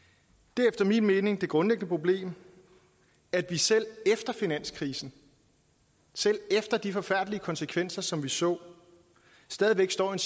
det er efter min mening det grundlæggende problem at vi selv efter finanskrisen selv efter de forfærdelige konsekvenser som vi så stadig væk står i